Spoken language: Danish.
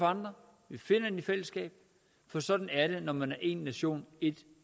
andre vi finder den i fællesskab for sådan er det når man er én nation ét